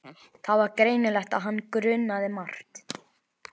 Það var greinilegt að hann grunaði margt.